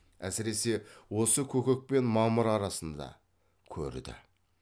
әсіресе осы көкек пен мамыр арасында көрді